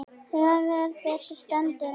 Þegar betur stendur á